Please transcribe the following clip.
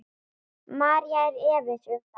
María er efins um það.